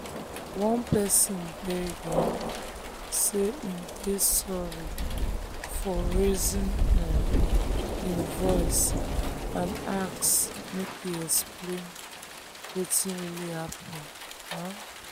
one person beg um say im dey sorry for raising um im voice and ask make e explain wetin really happen. um